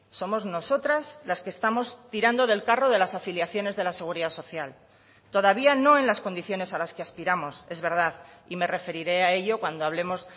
somos nosotras las que estamos tirando del carro de las afiliaciones de la seguridad social todavía no en las condiciones a las que aspiramos es verdad y me referiré a ello cuando hablemos